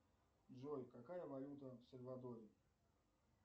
джой какая валюта в сальвадоре